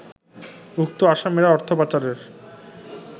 উক্ত আসামিরা অর্থপাচারের